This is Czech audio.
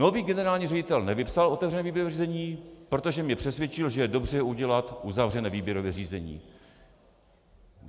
Nový generální ředitel nevypsal otevřené výběrové řízení, protože mě přesvědčil, že je dobře udělat uzavřené výběrové řízení.